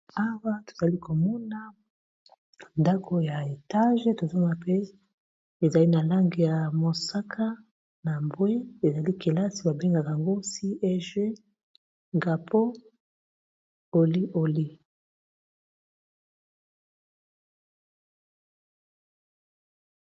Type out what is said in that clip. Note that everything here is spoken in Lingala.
Awa tozali komona ndako ya etage tozoma pe ezali na lange ya mosaka, na bwe ezali kelasi babengaka yango cieg ngapo oli oli.